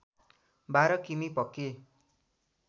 १२ किमी पक्की